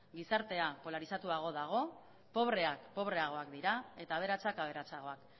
gizartea polarizatuago dago pobreak pobreagoak dira eta aberatsak aberatsagoak